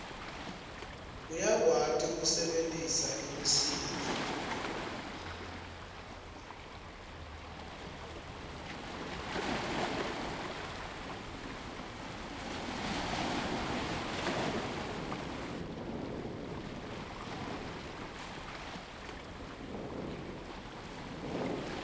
uyakwati kusebentisa imisindvo